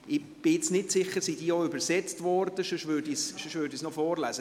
Ich bin jetzt nicht sicher, ob sie auch übersetzt wurden, sonst würde ich es noch vorlesen.